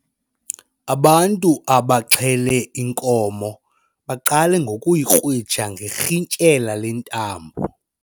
Abantu abaxhele inkomo baqale ngokuyikrwitsha ngerhintyela lentambo.